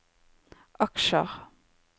aksjer